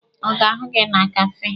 Ọ ga-ahụ gị na kafee?